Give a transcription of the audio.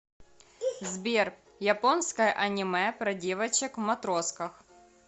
сбер японское аниме про девочек в матросках